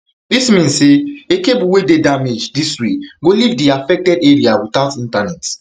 dis mean say a cable wey dey damaged dis way go leave di affected area without internet